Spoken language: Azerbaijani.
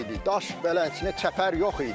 Daş belə içinə çəpər yox idi.